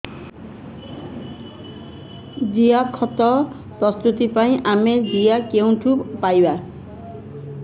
ଜିଆଖତ ପ୍ରସ୍ତୁତ ପାଇଁ ଆମେ ଜିଆ କେଉଁଠାରୁ ପାଈବା